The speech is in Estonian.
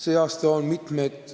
Sel aastal on mitmed